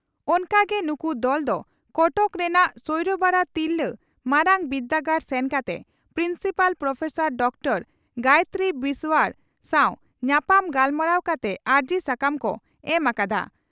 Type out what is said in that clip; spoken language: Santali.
ᱚᱱᱠᱟ ᱜᱮ ᱱᱩᱠᱩ ᱫᱚᱞ ᱫᱚ ᱠᱚᱴᱚᱠ ᱨᱮᱱᱟᱜ ᱥᱚᱭᱲᱚᱵᱟᱲᱟ ᱛᱤᱨᱞᱟᱹ ᱢᱟᱨᱟᱝᱵᱤᱨᱫᱟᱹᱜᱟᱲ ᱥᱮᱱ ᱠᱟᱛᱮ principal professor doctor Gayatri Biswal ᱥᱟᱣ ᱧᱟᱯᱟᱢ ᱜᱟᱞᱢᱟᱨᱟᱣ ᱠᱟᱛᱮ ᱟᱹᱨᱡᱤ ᱥᱟᱠᱟᱢ ᱠᱚ ᱮᱢ ᱟᱠᱟᱫᱼᱟ ᱾